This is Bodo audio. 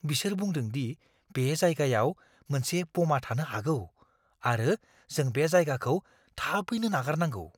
बिसोर बुंदों दि बे जायगायाव मोनसे ब'मा थानो हागौ आरो जों बे जायगाखौ थाबैनो नागारनांगौ!